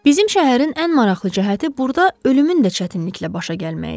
Bizim şəhərin ən maraqlı cəhəti burda ölümün də çətinliklə başa gəlməyi idi.